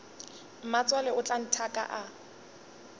mmatswale o tla nthaka a